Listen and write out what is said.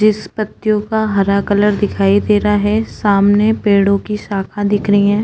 जिस पत्तियों का हरा कलर दिखीई दे रहा है सामने पेड़ों की शाखा दिख रहीं है।